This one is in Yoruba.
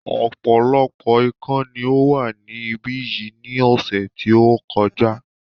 Ọ̀pọ̀lọpọ̀ ikán ni ó wà ní ibí yìí ní ọ̀sẹ̀ tí ó kọjá